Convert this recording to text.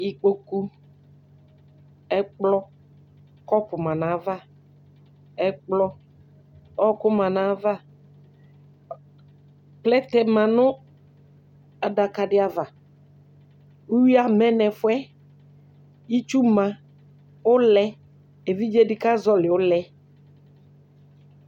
Ikpoku, ɛkplɔ, kɔpʋ ma nʋ ayava, ɛkplɔ, ɔɣɔkʋ ma nʋ ayava, plɛtɛ ma nʋ adaka dɩ ava Uyui amɛ nʋ ɛfʋ yɛ Itsu ma, ʋlɛ, evidze dɩ kazɔɣɔlɩ ʋlɛ